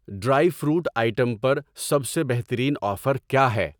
Dry fruit item پر سب سے بہترین آفر کیا ہے۔